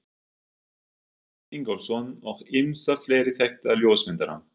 Guðmund Ingólfsson og ýmsa fleiri þekkta ljósmyndara.